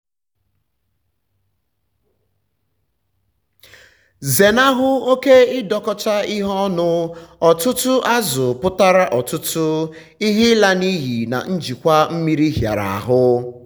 zenahụ oke ịdọkọcha ihe ọnụ - ọtụtụ azụ̀ pụtara ọtụtụ™ ihe ịla n’iyi na njikwa mmiri hịara ahụ.